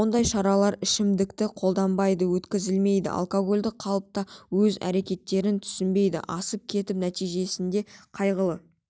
ондай шаралар ішімдікті қолданбай өткізілмейді алкоголді қалыпта өз іс-әрекеттерін түсінбей асып кетіп нәтижесінде қайғылы